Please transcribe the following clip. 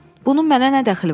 Bunun mənə nə dəxli var?